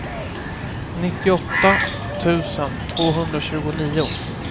nittioåtta tusen tvåhundratjugonio